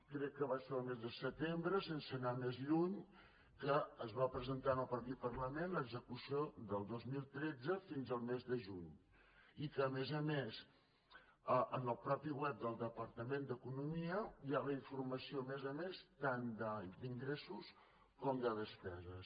crec que va ser el mes de setembre sense anar més lluny que es va presentar aquí al parlament l’execució del dos mil tretze fins al mes de juny i que a més a més en el mateix govern del departament d’economia hi ha la informació a més a més tant d’ingressos com de despeses